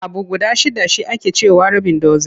Abu guda shidda shi ake ce wa rabin dozin.